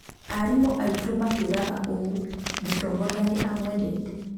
Arimũ aitũ maatwĩraga ũũ: 'Mũtongoria nĩ amwendete.'